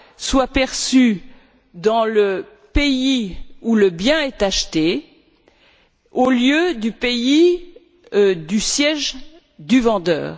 soit perçue dans le pays où le bien est acheté, au lieu du pays du siège du vendeur.